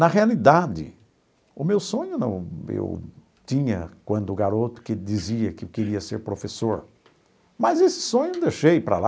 Na realidade, o meu sonho não eu tinha quando garoto que dizia que queria ser professor, mas esse sonho eu deixei para lá.